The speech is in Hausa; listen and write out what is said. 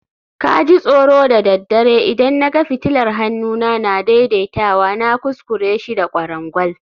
ka ji tsoro da daddare idan na ga fitilar hannuna na daidaitawa, na kuskure shi da kwarangwal